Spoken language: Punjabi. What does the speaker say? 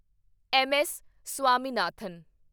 M S Swaminathan